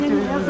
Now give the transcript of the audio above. Çerkasen.